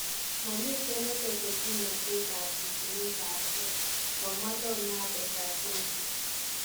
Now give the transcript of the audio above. Mamiten netese kimnatet ab sisinet ab geeh, Komwa leonardo da Vinci